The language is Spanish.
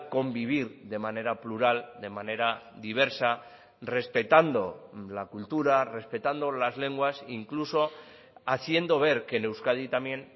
convivir de manera plural de manera diversa respetando la cultura respetando las lenguas incluso haciendo ver que en euskadi también